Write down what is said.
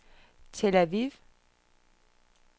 Tel Aviv